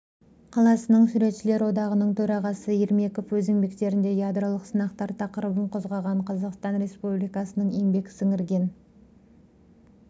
қаласының суретшілер одағының төрағасы ермеков өз еңбектерінде ядролық сынақтар тақырыбын қозғаған қазақстан республикасының еңбек сіңірген